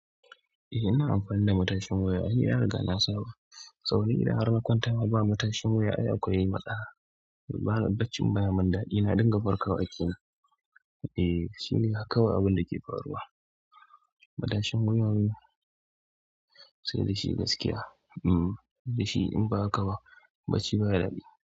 Eh ina amfani da matashin wuya. Ai na riga na saba. Toh ni idan har na kwanta ma ba matashin wuya ai akwai matsala. Bana bacci baya mun daɗi. Na dinga farkawa kenan. Eh shine haka kawai abinda ke faruwa. Matashin wuyan sai da shi gaskiya. Hmm da shi in ba haka ba bacci baya daɗi.